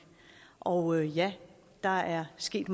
og ja der er sket